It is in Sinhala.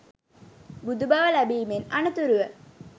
බුදු බව ලැබීමෙන් අනතුරුව